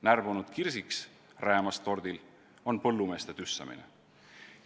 Närbunud kirsiks räämas tordil on põllumeeste tüssamine.